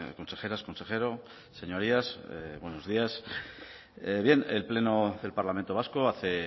consejeras consejero señorías buenos días el pleno del parlamento vasco hace